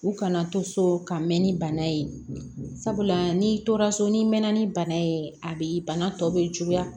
U kana to so ka mɛn ni bana ye sabula n'i tora so n'i mɛnna ni bana ye a bɛ bana tɔ bɛ juguya